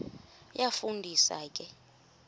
iyafu ndisa ke